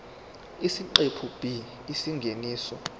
isiqephu b isingeniso